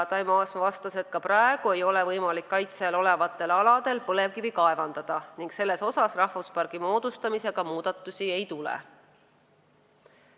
Taimo Aasma vastas, et ka praegu ei ole võimalik kaitse all olevatel aladel põlevkivi kaevandada ning selle koha pealt rahvuspargi moodustamisega muudatusi ei tule.